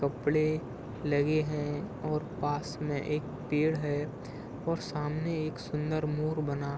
कपड़े लगे हैं और पास मे एक पेड़ है और सामने एक सुंदर मोर बना --